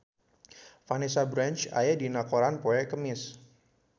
Vanessa Branch aya dina koran poe Kemis